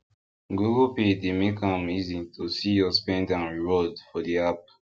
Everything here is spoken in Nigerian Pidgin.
google pay dey make am easy to see your speng and reward for the app